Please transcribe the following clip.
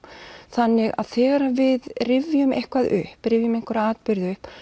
þannig að þegar við rifjum eitthvað upp rifjum einhverja atburði upp